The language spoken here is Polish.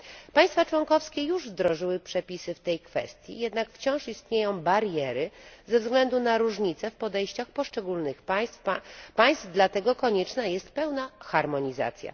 Państwa członkowskie już wdrożyły przepisy w tej kwestii, jednak wciąż istnieją bariery ze względu na różnice w podejściach poszczególnych państw, dlatego konieczna jest pełna harmonizacja.